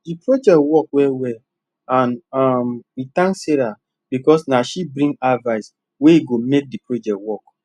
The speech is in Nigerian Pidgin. the project work well well and um we thank sarah because na she bring advice wey go make the project work